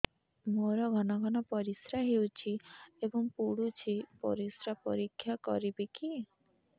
ମୋର ଘନ ଘନ ପରିସ୍ରା ହେଉଛି ଏବଂ ପଡ଼ୁଛି ପରିସ୍ରା ପରୀକ୍ଷା କରିବିକି